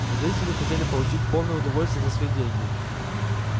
зрители хотели получить полное удовольствие за свои деньги